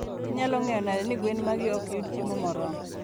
Inyalo ng'eyo nade ni gwen magi ok yud chiemo moromo?